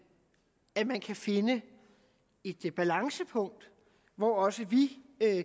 at man kan finde et balancepunkt hvor også vi